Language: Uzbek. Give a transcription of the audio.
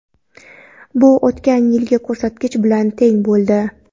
Bu o‘tgan yilgi ko‘rsatkich bilan teng bo‘ldi.